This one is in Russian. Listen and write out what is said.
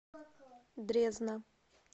дрезна